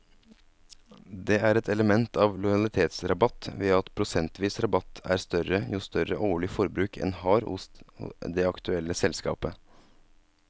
Det er et element av lojalitetsrabatt ved at prosentvis rabatt er større jo større årlig forbruk en har hos det aktuelle selskapet.